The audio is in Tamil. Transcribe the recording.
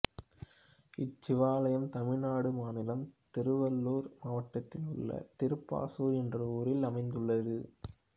இச்சிவாலயம் தமிழ்நாடு மாநிலம் திருவள்ளூர் மாவட்டத்தில் உள்ள திருப்பாசூர் என்ற ஊரில் அமைந்துள்ளது